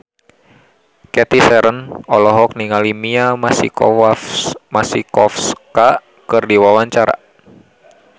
Cathy Sharon olohok ningali Mia Masikowska keur diwawancara